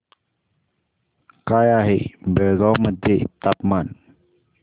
काय आहे बेळगाव मध्ये तापमान